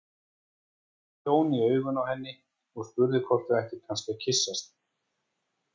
Þá horfði Jón í augun á henni og spurði hvort þau ættu kannski að kyssast.